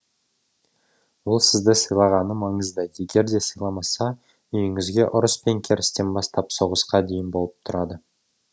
ол сізді сыйлағаны маңызды егерде сыйламаса үйіңізде ұрыс пен керістен бастап соғысқа дейін болып тұрады